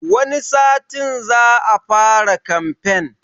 Wani satin za a fara kamfen